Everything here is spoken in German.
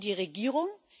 Gegen die Regierung?